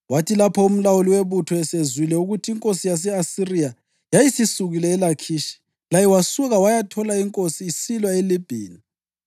Kwathi lapho umlawuli webutho esezwile ukuthi inkosi yase-Asiriya yayisisukile eLakhishi, laye wasuka wayathola inkosi isilwa leLibhina.